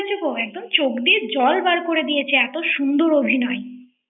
ঠিক বলেছ গো একদম চোখ দিয়ে জল বার করে দিয়েছে, এত সুন্দর অভিনয় ৷